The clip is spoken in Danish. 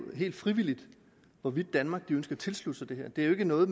helt frivilligt hvorvidt danmark ønsker at tilslutte sig det her det er jo ikke noget